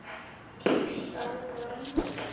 Hún starði á mig.